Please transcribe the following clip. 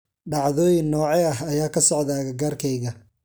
Dhacdooyin noocee ah ayaa ka socda agagaarkayga?